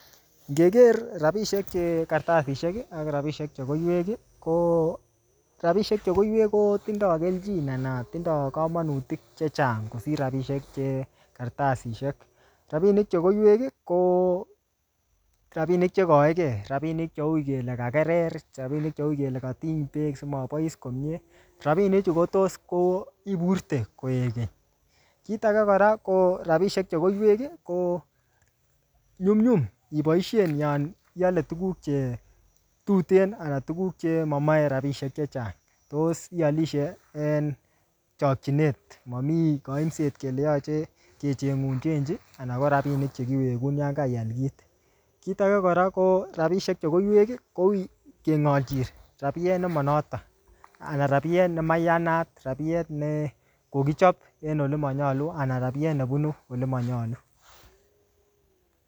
Ngeker rabisiek che kartasisiek, ak rabisiek che koiwek, ko rabisiek che koiwek kotindoi keljin anan tinoi komonutik chechang kosir rabisiek che kartasisiek. Rabinik che koiwek, ko rabinik che kaeke, rabinik cheui kele kakerer. Rabinik cheui kele katiny beek simabois komyee. Rabinik chu kotos ko iburte koek keny. Kir age kora, ko rabisiek che koiwek, ko nyumnyum iboisien yon iale tuguk che tuten, anan tuguk che mamache rabisiek chechang. Tos ialishei en chakchinet. Mamii kaimset kele yache kechengun chenchi, anan ko rabinik che kiwegun yon kaial kit. Kit age kora, ko rabisiek che koiwek, koui kengalchin rabiet ne manoton, anan rabiet ne maiyanat. Rabiet ne kokichap en ole manyolu, anan rabiet nebunu ole manyolu.